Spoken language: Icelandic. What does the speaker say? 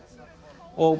og